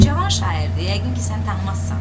Cavan şairdir, yəqin ki sən tanımazsan.